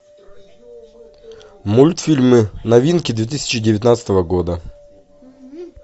мультфильмы новинки две тысячи девятнадцатого года